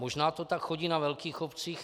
Možná to tak chodí na velkých obcích.